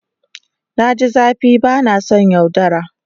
Na ji zafi ba na son yaudara.